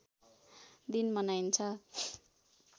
दिन मनाइन्छ